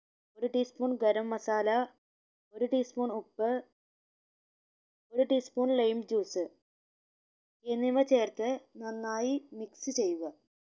ഒരു tea spoon garam masala ഒരു tea spoon ഉപ്പ് ഒരു tea spoon lime juice എന്നിവ ചേർത്ത് നന്നായി mix ചെയ്യുക